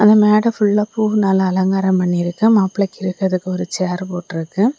இந்த மேடை ஃபுல்லா பூவுனால அலங்காரம் பண்ணி இருக்கு மாப்பிள்ளைக்கு இருக்கிறதுக்கு ஒரு சேர் போட்டிருக்கு.